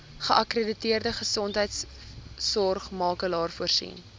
geakkrediteerde gesondheidsorgmakelaar voorsien